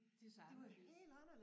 De så anderledes